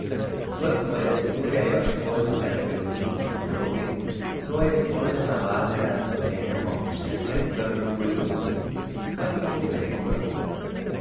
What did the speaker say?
Kot pojasnjujejo spolni terapevti in psihologi, svoje spolne navade razodenemo še pred prvim poljubom, pa si poglejmo, kako.